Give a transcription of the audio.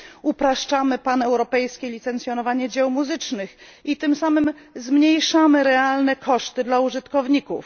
upraszczamy paneuropejskie licencjonowanie dzieł muzycznych i tym samym zmniejszamy realne koszty dla użytkowników.